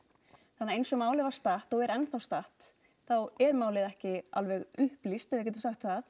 þannig að eins og málið var statt og er enn þá statt þá er málið ekki alveg upplýst ef við getum sagt það